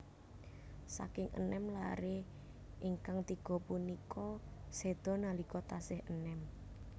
Saking enem laré ingkang tiga punika séda nalika tasih enèm